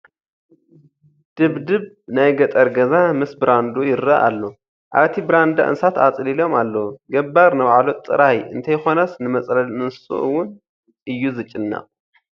ድብድብ ናይ ገጠር ገዛ ምስ ብራንድኡ ይርአ ኣሎ፡፡ ኣብቲ ብራንዳ እንስሳት ኣፅሊሎም ኣለዉ፡፡ ገባር ንባዕሉ ጥራይ እንተይኮነስ ንመፅለሊ እንስስኡ እውን እዩ ዝጭነቕ፡፡